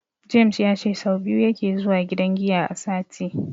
James ya ce sau biyu yake zuwa gidan giya a sati.